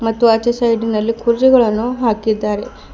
ಮತ್ತು ಆಚೆ ಸೈಡಿನಲ್ಲಿ ಕುರ್ಜಿಗಳನ್ನು ಹಾಕಿದ್ದಾರೆ.